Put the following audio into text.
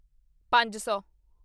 ਪੰਜ ਸੌ